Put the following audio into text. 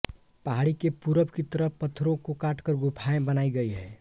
पहाड़ी के पूरब की तरफ पत्थरों को काटकर गुफाएँ बनाई गई हैं